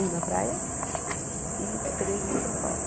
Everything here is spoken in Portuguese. Um na praia e três em São Paulo.